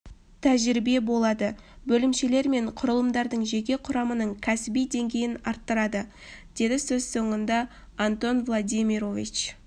тәжірибе болады бөлімшелер мен құрылымдардың жеке құрамының кәсіби деңгейін арттырады деді сөз соңында антон владимирович